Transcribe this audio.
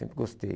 Sempre gostei.